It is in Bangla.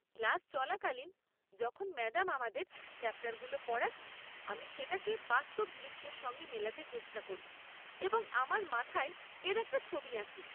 ক্লাস চলাকালীন যখন ম্যাডাম আমাদের চ্যাপ্টারগুলো পড়ান, আমি সেটাকে বাস্তব দৃশ্যের সঙ্গে মেলাতে চেষ্টা করি এবং আমার মাথায় এর একটা ছবি আঁকি।